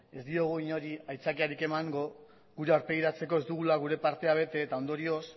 ez diogu inori aitzakiarik emango gure aurpegiratzeko ez dugula gure partea bete eta ondorioz